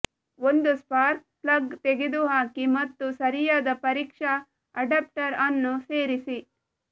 ಒಂದು spark plug ತೆಗೆದುಹಾಕಿ ಮತ್ತು ಸರಿಯಾದ ಪರೀಕ್ಷಾ ಅಡಾಪ್ಟರ್ ಅನ್ನು ಸೇರಿಸಿ